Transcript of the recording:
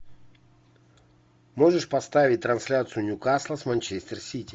можешь поставить трансляцию ньюкасла с манчестер сити